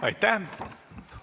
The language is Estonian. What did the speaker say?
Aitäh!